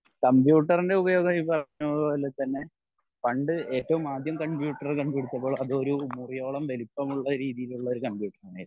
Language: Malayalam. കമ്പ്യൂട്ടറിൻ്റെ ഉപയോഗം ഈ പറഞ്ഞ പോലെ തന്നെ പണ്ട് ഏറ്റവും ആദ്യം കമ്പ്യൂട്ടർ കണ്ട പിടിച്ചപ്പോൾ അത് ഒരു മുറിയോളം വലുപ്പം ഉള്ള രീതിയിലൊരു ഒരു കമ്പ്യൂട്ടർ ആയിരുന്നു